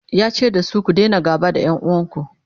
yace dasu " ku Daina gaba da ƴan uwanku!"